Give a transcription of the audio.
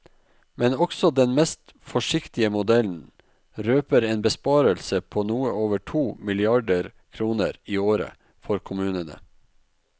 Men også den mest forsiktige modellen røper en besparelse på noe over to milliarder kroner i året for kommunene.